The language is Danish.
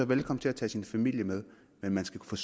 velkommen til at tage sin familie med men man skal kunne